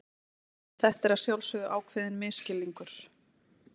Þetta er að sjálfsögðu ákveðinn misskilningur.